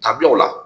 Dabila o la